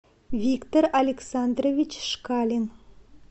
виктор александрович шкалин